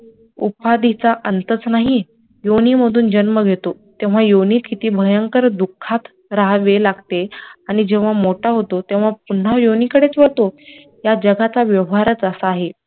उपाधीचा अंतच नाही योनी मधून जन्म घेतो तेव्हा योनीत किती भयंकर दुखत राहावे लागते आणि जेव्हा मोठा होतो तेव्हा पुन्हा योनी कडेच वडतो त्या व्यवहारच तसा आहे